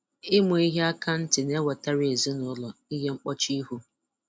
Ịma ehi akantị na-ewetara ezinụlọ ihe mkpọchi ihu